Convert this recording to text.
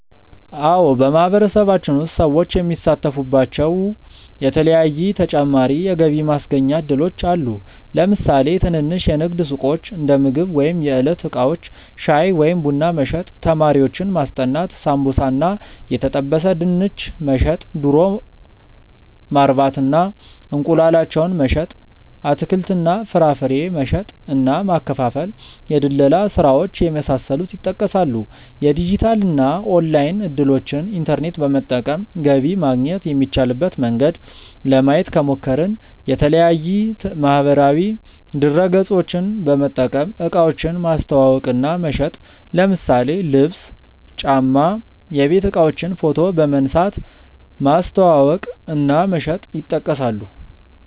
አዎ በማህበረሰባችን ውስጥ ሰዎች የሚሳተፉባቸዉ የተለያዪ ተጨማሪ የገቢ ማስገኛ እድሎች አሉ። ለምሳሌ ትንንሽ የንግድ ሱቆች(እንደምግብ ወይም የዕለት እቃዎች) ፣ ሻይ ወይም ቡና መሸጥ፣ ተማሪዎችን ማስጠናት፣ ሳምቡሳ እና የተጠበሰ ድንች መሸጥ፣ ዶሮ ማርባት እና እንቁላላቸውን መሸጥ፣ አትክልት እና ፍራፍሬ መሸጥ እና ማከፋፈል፣ የድለላ ስራዎች የመሳሰሉት ይጠቀሳሉ። የዲጂታል እና ኦንላይን እድሎችን( ኢንተርኔት በመጠቀም ገቢ ማግኘት የሚቻልበት መንገድ) ለማየት ከሞከርን፦ የተለያዪ ማህበራዊ ድረገፆችን በመጠቀም እቃዎችን ማስተዋወቅ እና መሸጥ ለምሳሌ ልብስ፣ ጫማ፣ የቤት እቃዎችን ፎቶ በመንሳት ማስተዋወቅ እና መሸጥ ይጠቀሳሉ።